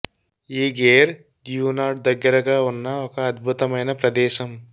ఈ Gare du Nord దగ్గరగా ఉన్న ఒక అద్భుతమైన ప్రదేశం